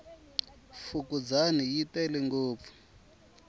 fukundzani yi tele ngopfu